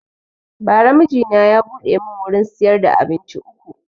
Ba ra mijina ya buɗe mun wurin siyar da abinci uku